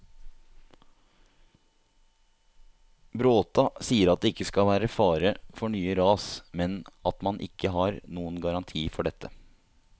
Bråta sier at det ikke skal være fare for nye ras, men at man ikke har noen garanti for dette.